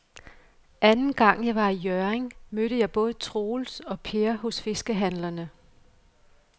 Anden gang jeg var i Hjørring, mødte jeg både Troels og Per hos fiskehandlerne.